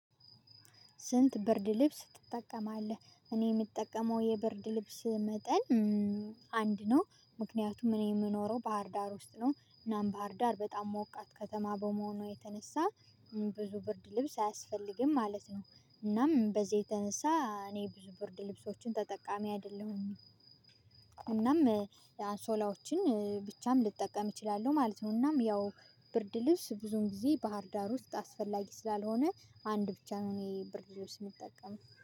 ስንት ብርድ ልብስ ትጠቀማለህ? እኔ የምጠቀመው የብርድ ልብስ መጠን አንድ ነው። ምክንያቱም እኔ የምኖረው ባህርዳር ውስጥ ነው እናም ባህርዳር በጣም ሞቃት ከተማ በመሆኗ የተነሳ ብዙ ብርድ ልብስ አያስፈልግም ማለት ነው። እናም በዚህ የተነሳ እኔ ብዙ ብርድ ልብሶችን ተጠቃሚ አይደለሁም። እናም የአንሶላዎችን ብቻም ልጠቀም እችላለሁ ማለት ነው። እናም ያው ብርድ ልብስ ብዙም ጊዜ ባህርዳር ውስጥ አስፈላጊ ስላልሆነ አንድ ብቻ ነው እኔ ብርድ ልብስ የምጠቀም